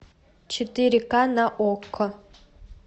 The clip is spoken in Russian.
четыре ка на окко